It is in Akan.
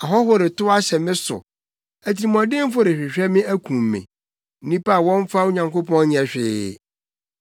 Ahɔho retow ahyɛ me so. Atirimɔdenfo rehwehwɛ me akum me; nnipa a wɔmmfa Onyankopɔn nyɛ hwee.